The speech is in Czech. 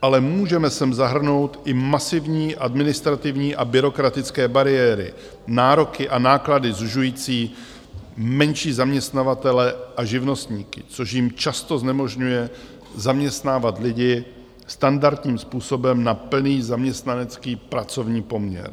Ale můžeme sem zahrnout i masivní administrativní a byrokratické bariéry, nároky a náklady sužující menší zaměstnavatele a živnostníky, což jim často znemožňuje zaměstnávat lidi standardním způsobem na plný zaměstnanecký pracovní poměr.